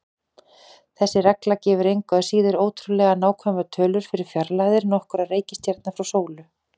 Þessi regla gefur engu að síður ótrúlega nákvæmar tölur fyrir fjarlægðir nokkurra reikistjarna frá sólu.